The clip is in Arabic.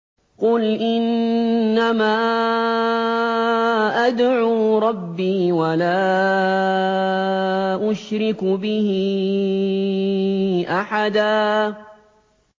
قُلْ إِنَّمَا أَدْعُو رَبِّي وَلَا أُشْرِكُ بِهِ أَحَدًا